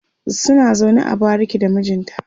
suna zaune a bariki da mijinta